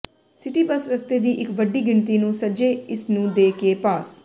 city bus ਰਸਤੇ ਦੀ ਇੱਕ ਵੱਡੀ ਗਿਣਤੀ ਨੂੰ ਸੱਜੇ ਇਸ ਨੂੰ ਦੇ ਕੇ ਪਾਸ